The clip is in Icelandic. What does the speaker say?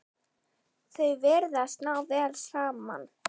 Þau virðast ná vel saman.